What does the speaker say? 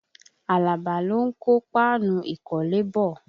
Àlàbá lò ń kó páànù ìkọ́lé bọ̀